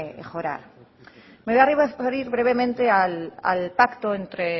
mejorar me voy a referir brevemente al pacto entre